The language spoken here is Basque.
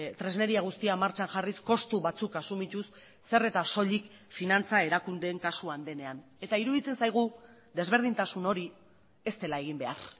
tresneria guztia martxan jarriz kostu batzuk asumituz zer eta soilik finantza erakundeen kasuan denean eta iruditzen zaigu desberdintasun hori ez dela egin behar